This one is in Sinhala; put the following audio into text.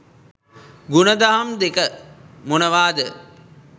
ගුණදහම් දෙක මොනවාද?